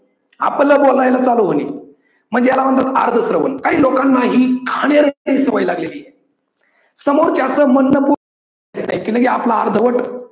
आपल बोलायला चालू होईल म्हणजे याला म्हणतात अर्ध श्रवण. काही लोकांना ही घाणेरडी सवय लागलेली आहे. सामोरच्याच म्हणणं आपल अर्धवट